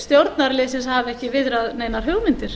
stjórnarliðsins hafi ekki viðrað neinar hugmyndir